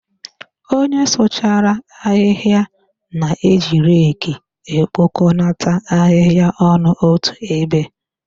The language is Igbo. Onye sụchara ahịhịa na-eji reki ekpokonata ahịhịa ọnụ otu ebe.